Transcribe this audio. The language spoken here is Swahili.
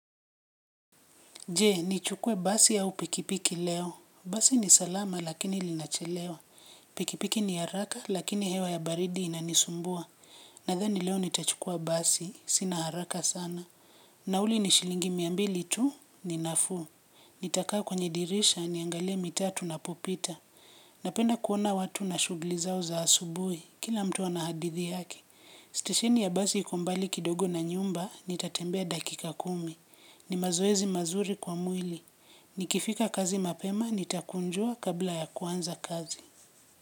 Je, nichukue basi au pikipiki leo. Basi ni salama lakini linachelewa. Pikipiki ni haraka lakini hewa ya baridi inanisumbua. Nadhani leo nitachukua basi, sina haraka sana. Nauli ni shilingi miambili tu, ni nafuu. Nitakaa kwenye dirisha niangalie mitaa tunapopita. Napenda kuona watu na shughuli zao za asubuhi, kila mtu ana hadithi yake. Stesheni ya basi iko mbali kidogo na nyumba nitatembea dakika kumi. Ni mazoezi mazuri kwa mwili. Nikifika kazi mapema nitakunjua kabla ya kuanza kazi.